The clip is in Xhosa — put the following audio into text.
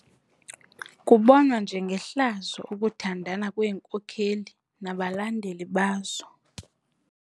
Kubonwa njengehlazo ukuthandana kweenkokeli nabalandeli bazo.